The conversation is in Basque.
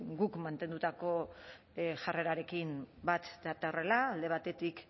guk mantendutako jarrerarekin bat datorrela alde batetik